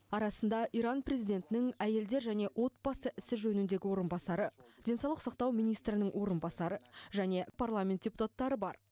арасында иран президентінің әйелдер және отбасы ісі жөніндегі орынбасары денсаулық сақтау министрінің орынбасары және парламент депутаттары бар